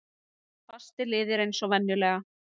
Fastir liðir eins og venjulega.